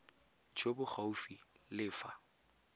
jo bo gaufi le fa